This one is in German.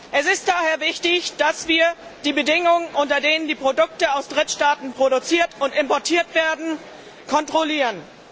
Es ist daher wichtig, dass wir die Bedingungen, unter denen die Produkte aus Drittstaaten produziert und importiert werden, kontrollieren.